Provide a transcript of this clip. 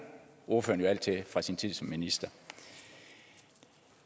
ordføreren jo alt til fra sin tid som minister